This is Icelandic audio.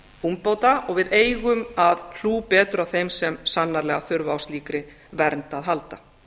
úrbóta og við eigum að hæli betur að þeim sem sannarlega þurfa á slíkri vernd að halda